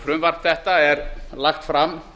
frumvarp þetta er lagt fram